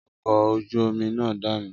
Ọkọ̀ ojú omi náà dànù